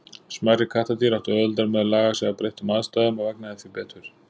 Smærri kattardýr áttu auðveldara með að laga sig að breyttum aðstæðum og vegnaði því betur.